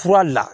Fura le la